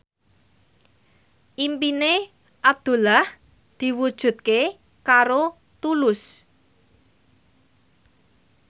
impine Abdullah diwujudke karo Tulus